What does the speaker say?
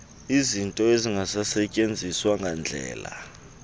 izinto ezingasetyenziswa ngandlela